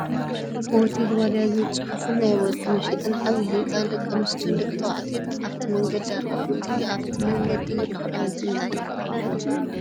ሆቴል ዋልያ ዝብል ፅሑፍን ናይ ወርቂ መሸጢን ዓብይ ህንፃን ደቂ ኣንስትዮን ደቂ ተባዕትዮን ኣብቲመንገዲ ኣለው። እቱይ ኣብቲ መንገዲ ዘሎ ክዳውንቲ እንታይ ይብሃል ሽሙ?